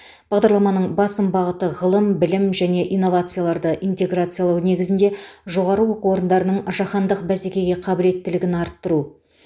бағдарламаның басым бағыты ғылым білім және инновацияларды интеграциялау негізінде жоо ның жаһандық бәсекеге қабілеттілігін арттыру